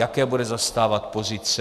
Jaké bude zastávat pozice?